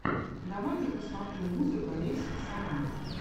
давай я посмотрю музыка лесиксама